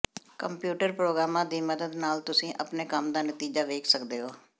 computer ਪ੍ਰੋਗਰਾਮਾਂ ਦੀ ਮਦਦ ਨਾਲ ਤੁਸੀਂ ਆਪਣੇ ਕੰਮ ਦਾ ਨਤੀਜਾ ਵੇਖ ਸਕਦੇ ਹੋ